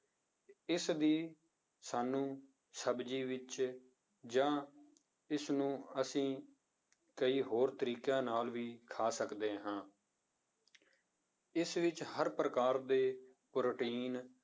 ਇਸਦੀ ਸਾਨੂੰ ਸਬਜ਼ੀ ਵਿੱਚ ਜਾਂ ਇਸਨੂੰ ਅਸੀਂ ਕਈ ਹੋਰ ਤਰੀਕਿਆਂ ਨਾਲ ਵੀ ਖਾ ਸਕਦੇ ਹਾਂ ਇਸ ਵਿੱਚ ਹਰ ਪ੍ਰਕਾਰ ਦੇ ਪ੍ਰੋਟੀਨ